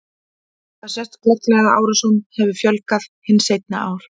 Þar sést glögglega að árásum hefur fjölgað hin seinni ár.